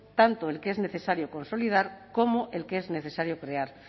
tanto el que es necesario consolidar como el que es necesario crear